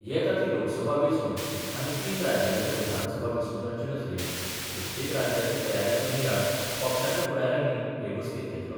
येता ती लोकसभा वेचणुक आनी तीन राज्यांच्या विधानसभा वेचणुकांचे नजरेन प्रत्येक राज्याचे तयारीचो नियाळ पक्षाच्या फुडार्यानी हे बसकेंत घेतलो.